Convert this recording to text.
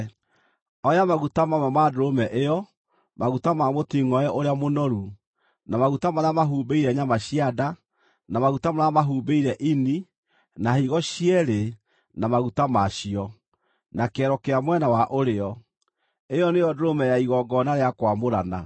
“Oya maguta mamwe ma ndũrũme ĩyo, maguta ma mũtingʼoe ũrĩa mũnoru, na maguta marĩa mahumbĩire nyama cia nda, na maguta marĩa mahumbĩire ini, na higo cierĩ na maguta ma cio, na kĩero kĩa mwena wa ũrĩo. (Ĩyo nĩyo ndũrũme ya igongona rĩa kwamũrana.)